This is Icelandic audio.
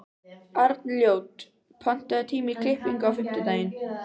Arnljót, pantaðu tíma í klippingu á fimmtudaginn.